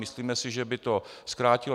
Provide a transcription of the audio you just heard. Myslíme si, že by to zkrátilo.